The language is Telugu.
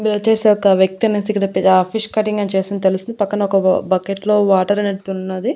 ఇది వచ్చేసి ఒక వ్యక్తి అనేసి ఇక్కడ పి ఆ ఫిష్ కటింగ్ చేస్తున్నట్టు తెలుస్తుంది పక్కన ఒక బకెట్ లో వాటర్ అనేటిది ఉన్నది.